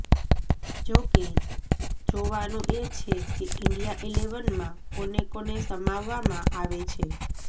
જો કે જોવાનું એ છે કે ઈન્ડિયા ઈલેવનમાં કોને કોને સમાવવામાં આવે છે